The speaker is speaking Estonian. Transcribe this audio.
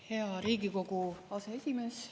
Hea Riigikogu aseesimees!